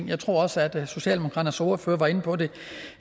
jeg tror også at socialdemokraternes ordfører var inde på det